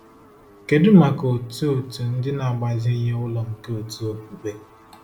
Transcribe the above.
Kedu maka otu otu ndị na-agbazinye ụlọ nke òtù okpukpe?